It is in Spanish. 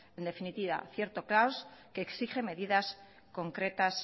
en definitiva cierto caos que exige medidas concretas